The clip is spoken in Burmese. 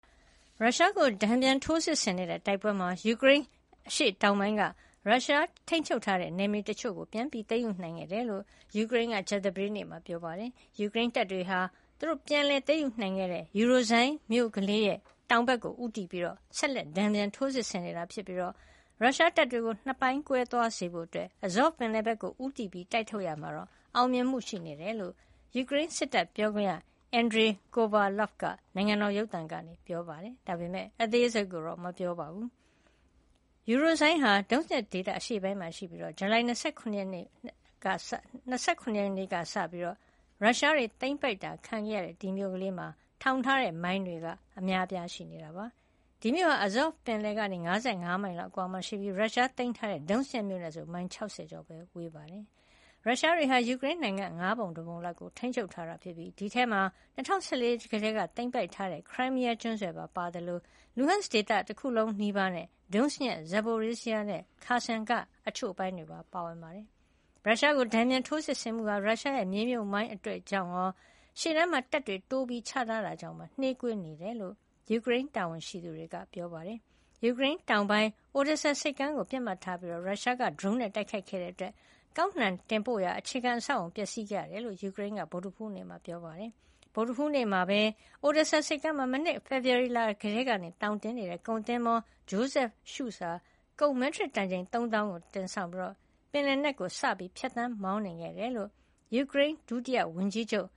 ရုရှားကို တန်ပြန်ထိုးစစ်ဆင်နေတဲ့တိုက်ပွဲမှာ ယူကရိန်းအရှေ့တောင်ပိုင်းက ရုရှားထိန်းချုပ်ထားတဲ့နယ်မြေတချို့ကို ပြန်လည်သိမ်းယူနိုင်ခဲ့တယ်လို့ ယူကရိန်းက ကြာသပတေးနေ့မှာ ပြောပါတယ်။ ယူကရိန်းတပ်တွေက ပြန်လည်သိမ်းယူနိုင်ခဲ့တဲ့ Urozhaine မြို့ကလေးရဲ့ တောင်ဘက်ကိုဦးတည်ပြီး ဆက်လက်တန်ပြန် ထိုးစစ်ဆင်နေတာဖြစ်ပြီး ရုရှားတပ်တွေကို ၂ ပိုင်းကွဲသွားစေဖို့ Azov ပင်လယ်ဘက်ဦးတည တိုက်ထုတ်ရာမှာ အောင်မြင်မှု ရှိနေတယ်လို့ ယူကရိန်းစစ်တပ်ပြောခွင့်ရ Andriy Kovaliov က နိုင်ငံတော် ရုပ်သံကနေ ပြောပါတယ်။ ဒါပေမယ့် အသေးစိတ်ကိုတော့ ထုတ်မပြောပါဘူး။ Urozhaine ဟာ Donetsk ဒေသ အရှေ့ပိုင်းမှာရှိပြီး ဇူလိုင်လ ၂၇ ရက်ကစလို့ ရုရှားတွေသိမ်းပိုက်တာခံခဲ့ရတဲ့ ဒီမြို့ကလေးမှာ ထောင်ထားတဲ့မိုင်းတွေ အများအပြားရှိနေတာပါ။ ဒီမြို့ဟာ Azov ပင်လယ်ကနေ ၅၅ မိုင်လောက်အကွာမှာရှိပြီး ရုရှားသိမ်းပိုက်ထားတဲ့ Donetsk မြို့နဲ့ဆို မိုင် ၆၀ ကျော်ပဲ ကွာဝေးပါတယ်။ ရုရှားတွေဟာ ယူကရိန်းနိုင်ငံရဲ့ ၅ ပုံ ၁ ပုံလောက်ကို ထိန်းချုပ်ထားတာဖြစ်ပြီး ဒီအထဲမှာ ၂၀၁၄ က သိမ်းပိုက်ထားတဲ့ ခရိုင်းမီးယားကျွန်းဆွယ်ပါဝင်သလို Luhansk ဒေသတခုလုံးနီးပါးနဲ့ Donetsk, Zaporizhzhia နဲ့ Kherson က တချို့အပိုင်းတွေ ပါဝင်ပါတယ်။ ရုရှားကို တန်ပြန်ထိုးစစ်ဆင်မှုဟာ ရုရှားရဲ့ မြေမြှုပ်မိုင်းတွေကြောင့်ရော ရှေ့တန်းမှာ တပ်တွေ တိုးချထားတာကြောင့်ပါ နှေးကွေးနေတယ်လို့ ယူကရိန်းတာဝန်ရှိသူတွေက ပြောပါတယ်။ ယူကရိန်းတောင်ပိုင်း Odesa ဒေသ ဆိပ်ကမ်းကိုပစ်မှတ်ထားပြီး ရုရှားက ဒရုန်းနဲ့ တိုက်ခိုက်ခဲ့တဲ့အတွက် ကောက်နှံတင်ပို့ရာ အခြေခံ အဆောက်အအုံပျက်စီးခဲ့ရတယ်လို့ ယူကရိန်းက ဗုဒ္ဓဟူးနေ့က ပြောပါတယ်။ ဗုဒ္ဓဟူးနေ့မှာပဲ Odessa ဆိပ်ကမ်းမှာ မနှစ်က ဖေဖေါ်ဝါရီကတည်းက သောင်တင်နေတဲ့ ကုန်သင်္ဘော Joseph Schulte ဟာ ကုန် မက်ထရစ်တန်ချိန် ၃ သောင်းကို တင်ဆောင်ပြီး ပင်လယ်နက်ကို စပြီး ဖြတ်သန်းမောင်းနှင်ခဲ့တယ်လို့ ယူကရိန်း ဒုဝန်ကြီးချုပ်